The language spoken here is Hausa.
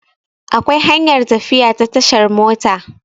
Akwai hanyar tafiya ta tashar mota